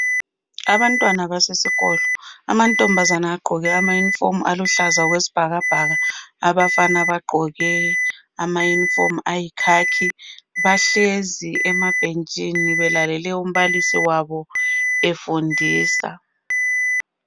Abantwana basesikolo. Amantombazana agqoke amayunifomu aluhlaza okwesibhakabhaka. Abafana bagqoke amayunifomu abo ayikhakhi. Bahlezi emabhentshini, belalele umbalisi wabo efundisa.